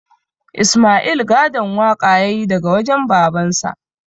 Isma'il gadon waƙa ya yi daga wajen babansa